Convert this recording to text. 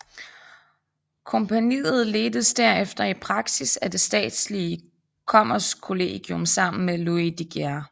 Kompagniet ledtes derefter i praksis af det statslige Kommerskollegium sammen med Louis de Geer